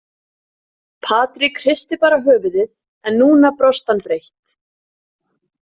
Patrik hristi bara höfuðið en núna brosti hann breitt.